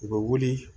U bɛ wuli